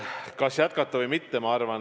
Kas jätkata või mitte?